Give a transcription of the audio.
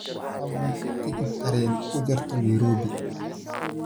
fadlan tigidh tareen u jarto nairobi